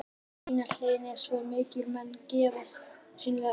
Vanlíðanin er svo mikil að menn gefast hreinlega upp.